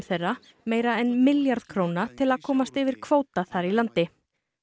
þeirra meira en milljarð króna til að komast yfir kvóta þar í landi